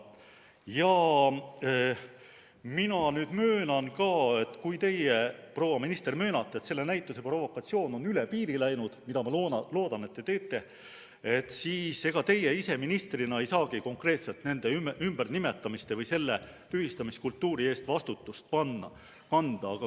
Ja mina nüüd möönan, kui teie, proua minister, ka möönate, et selle näituse provokatsioon on üle piiri läinud – mida ma loodan, et te teete –, et ega teie ise ministrina ei saagi konkreetselt nende ümbernimetamiste või selle tühistamiskultuuri eest vastutust kanda.